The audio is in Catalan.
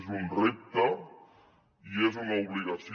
és un repte i és una obligació